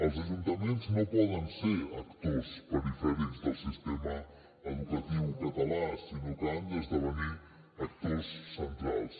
els ajuntaments no poden ser actors perifèrics del sistema educatiu català sinó que han d’esdevenir actors centrals